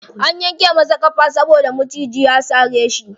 An yanke masa ƙafa saboda maciji ya sare shi.